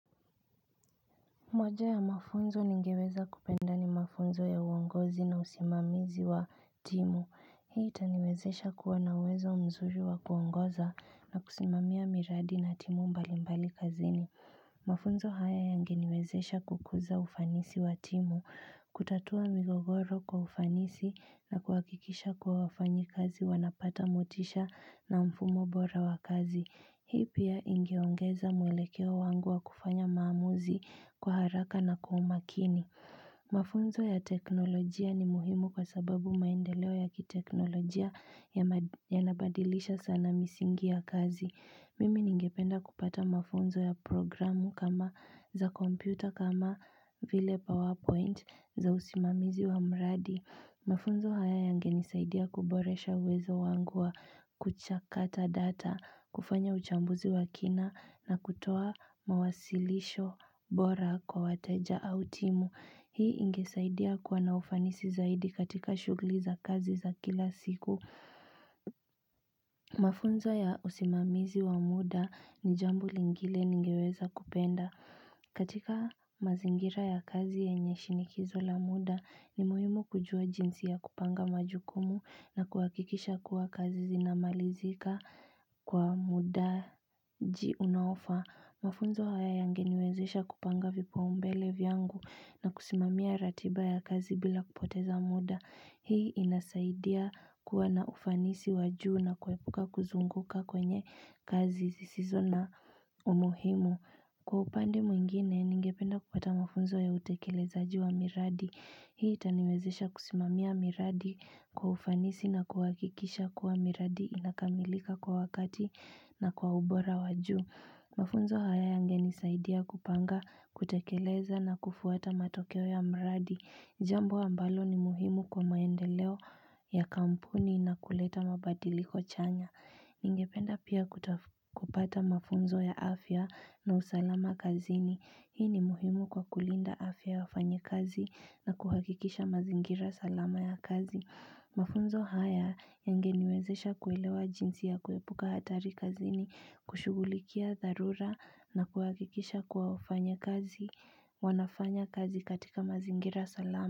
Moja ya mafunzo ningeweza kupenda ni mafunzo ya uongozi na usimamizi wa timu Hii itaniwezesha kuwa na uwezo mzuri wa kuongoza na kusimamia miradi na timu mbali mbali kazini Mafunzo haya yange niwezesha kukuza ufanisi wa timu kutatua migogoro kwa ufanisi na kuakikisha kuwa wafanyi kazi wanapata motisha na mfumo bora wa kazi Hii pia ingeongeza mwelekeo wangu wa kufanya maamuzi kwa haraka na kwa umakini. Mafunzo ya teknolojia ni muhimu kwa sababu maendeleo ya kiteknolojia ya nabadilisha sana misingi ya kazi. Mimi ningependa kupata mafunzo ya programu kama za kompyuta kama vile powerpoint za usimamizi wa mradi. Mafunzo haya yange nisaidia kuboresha uwezo wangu wa kuchakata data, kufanya uchambuzi wa kina na kutoa mawasilisho bora kwa wateja au timu. Hii ingesaidia kuwa na ufanisi zaidi katika shugli za kazi za kila siku. Mafunzo ya usimamizi wa muda ni jambo lingile ningeweza kupenda katika mazingira ya kazi yenye shinikizo la muda ni muhimu kujua jinsi ya kupanga majukumu na kuakikisha kuwa kazi zinamalizika kwa mudaji unaofaa Mafunzo haya yangeniwezesha kupanga vipaumbele vyangu na kusimamia ratiba ya kazi bila kupoteza muda Hii inasaidia kuwa na ufanisi wajuu na kuepuka kuzunguka kwenye kazi zisizo na umuhimu Kwa upande mwingine, ningependa kupata mafunzo ya utekelezaji wa miradi Hii itaniwezesha kusimamia miradi kwa ufanisi na kuakikisha kuwa miradi inakamilika kwa wakati na kwa ubora wajuu Mafunzo haya yangenisaidia kupanga, kutekeleza na kufuata matokeo ya mradi Jambo ambalo ni muhimu kwa maendeleo ya kampuni na kuleta mabadiliko chanya. Ningependa pia kupata mafunzo ya afya na usalama kazini. Hii ni muhimu kwa kulinda afya ya wafanya kazi na kuhakikisha mazingira salama ya kazi. Mafunzo haya yangeniwezesha kuelewa jinsi ya kuepuka hatari kazini, kushugulikia tharura na kuhakikisha kuwa wafanya kazi, wanafanya kazi katika mazingira salama.